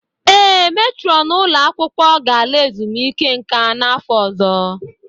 Ee, metrọn ụlọ akwụkwọ ga-ala ezumike nka n'afọ ọzọ.